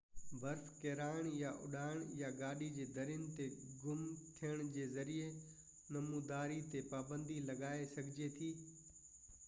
برف ڪيرائڻ يا اڏائڻ يا گاڏي جي درين تي گهم ٿيڻ جي ذريعي نموداري تي پابندي لڳائي سگهجي ٿي